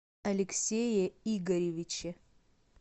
алексее игоревиче